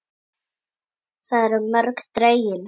Þar eru mörkin dregin.